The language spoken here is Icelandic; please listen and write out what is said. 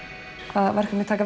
hvaða verkefni taka